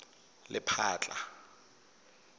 lephatla